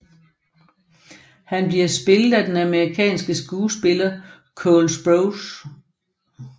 Han bliver spillet af den amerikanske skuespiller Cole Sprouse